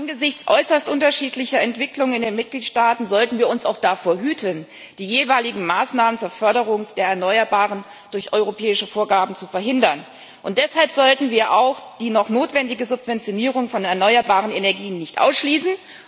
Angesichts äußerst unterschiedlicher Entwicklungen in den Mitgliedstaaten sollten wir uns auch davor hüten, die jeweiligen Maßnahmen zur Förderung der Erneuerbaren durch europäische Vorgaben zu verhindern, und deshalb sollten wir auch die noch notwendige Subventionierung von erneuerbaren Energien nicht ausschließen.